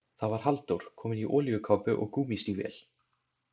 Það var Halldór, kominn í olíukápu og gúmmístígvél.